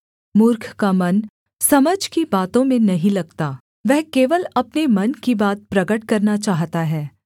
मूर्ख का मन समझ की बातों में नहीं लगता वह केवल अपने मन की बात प्रगट करना चाहता है